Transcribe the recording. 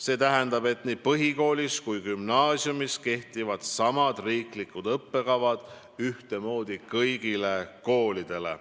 See tähendab, et nii põhikoolis kui ka gümnaasiumis kehtivad samad riiklikud õppekavad ühtemoodi kõigile koolidele.